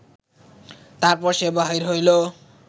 তারপর সে বাহির হইল